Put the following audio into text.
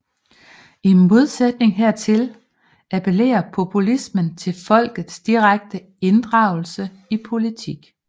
I modsætning hertil appellerer populismen til folkets direkte inddragelse i politik